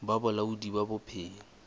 ba bolaodi ba bophelo bo